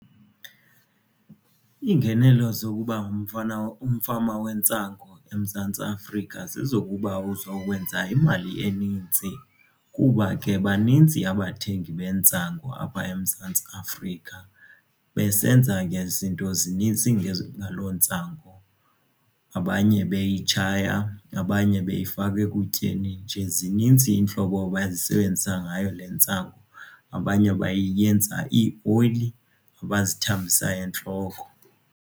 Iingenelo zokuba umfama wentsangu eMzantsi Afrika zezokuba uzokwenza imali enintsi kuba ke baninzi abathengi bentsangu apha eMzantsi Afrika. Besenza ke zinto zinintsi ngalo ntsangu abanye beyitshaya abanye beyifaka ekutyeni nje zinintsi iintlobo abazisebenzisa ngayo le ntsangu, abanye bayenza ioyili abazithambisa entloko.